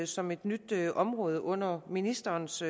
som et nyt område under ministerens